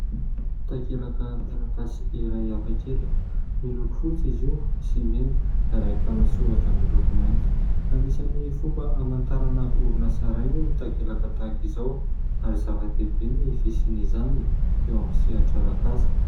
Takelaka taratasy iray hafakely. Miloko fotsy izy io sy mena ary ahitana soratra miloko mainty. Anisany fomba amantarana orinasa iray moa ny takelaka tahaka izao ary zava-dehibe ny fisian'izany eo amin'ny sehatra arak'asa.